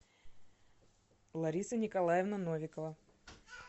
лариса николаевна новикова